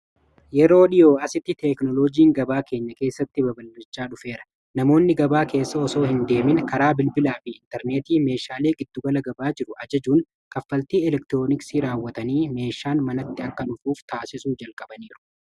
Yeroo dhiyoo asitti teeknoloojiin gabaa keenya keessatti babal'achaa dhufeera namoonni gabaa keessa osoo hin deemin karaa bilbilaa fi intarneetii meeshaalee giddugala gabaa jiru ajajuun kaffaltii elektirooniksii raawwatanii meeshaan manatti akka dhufuuf taasisu jalqabaniiru.